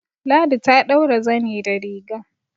Ladi ta ɗaura zani da riga